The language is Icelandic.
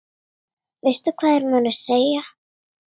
Veistu hvað þeir munu segja?